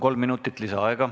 Kolm minutit lisaaega.